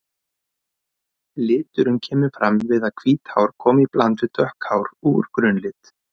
Liturinn kemur fram við að hvít hár koma í bland við dökk hár úr grunnlit.